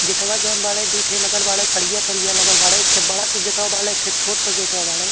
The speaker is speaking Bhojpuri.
गेटवा जॉन बाड़े दूठे लगल बाड़े करिया-करिया लगल बाड़े एक बड़का गेटवा बाड़े एक छोट के गेटवा बाड़े।